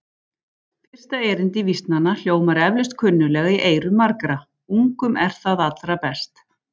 Fyrsta erindi vísnanna hljómar eflaust kunnuglega í eyrum margra: Ungum er það allra best